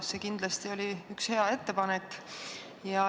See oli kindlasti hea ettepanek.